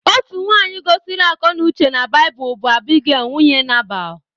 Otu nwaanyị gosiri akọnauche na Baịbụl bụ Abigail nwunye Nabal.